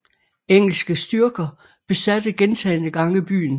Engelske styrker besatte gentagne gange byen